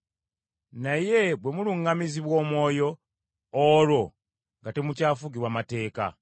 Naye bwe muluŋŋamizibwa Omwoyo, olwo nga temukyafugibwa mateeka.